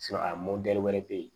a wɛrɛ bɛ yen